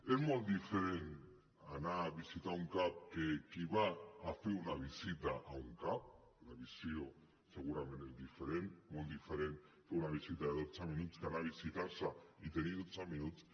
és molt diferent anar a visitar un cap que qui va a fer una visita a un cap la visió segurament és diferent és molt diferent fer una visita de dotze minuts que anar a visitar se i tenir dotze minuts